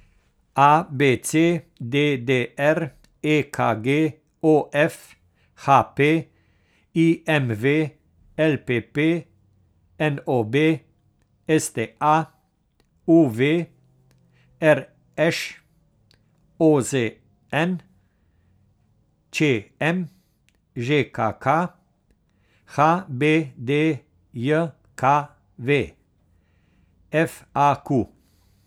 A B C; D D R; E K G; O F; H P; I M V; L P P; N O B; S T A; U V; R Š; O Z N; Č M; Ž K K; H B D J K V; F A Q.